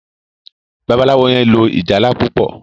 Babalawo yen lò ìjálá púpọ.